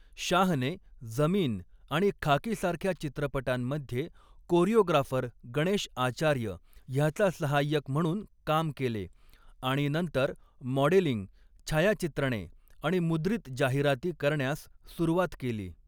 शाहने ज़मीन आणि खाकीसारख्या चित्रपटांमध्ये कोरिओग्राफर गणेश आचार्य ह्याचा सहाय्यक म्हणून काम केले आणि नंतर मॉडेलिंग, छायाचित्रणे आणि मुद्रित जाहिराती करण्यास सुरुवात केली.